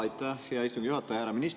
Aitäh, hea istungi juhataja!